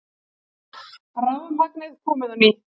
Rafmagnið komið á ný